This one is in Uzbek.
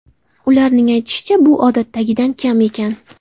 Ularning aytishicha, bu odatdagidan kam ekan.